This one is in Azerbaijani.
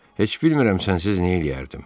heç bilmirəm sənsiz neylərdim.